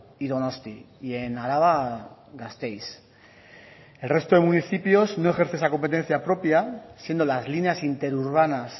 y donosti y en araba gasteiz el resto de municipios no ejerce esa competencia propia siendo las líneas interurbanas